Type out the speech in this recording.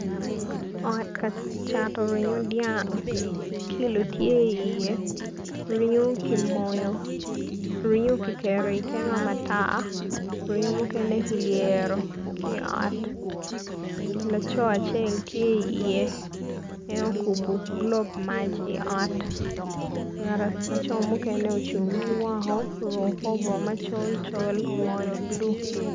Ot cato ringo dyang kilo tye iye ringo kimoyo ringo kiketo i kema mata mukene ki ngabo laco acel tye iye en okubo gulob mac laco mukene ocung ki woko oruko kor bongo ma ongolo ma buluvulu.